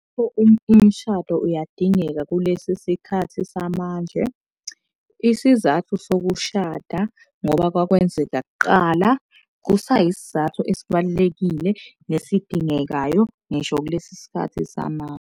Umshado uyadingeka kulesi sikhathi samanje. Isizathu sokushada, ngoba kwakwenzeka kaqala kusayisizathu esibalulekile nesidingekayo ngisho kulesi sikhathi samanje.